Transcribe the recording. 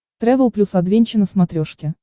трэвел плюс адвенча на смотрешке